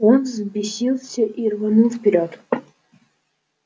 он взбесился и рванул вперёд